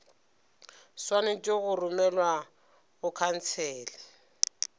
swanetše go romelwa go khansele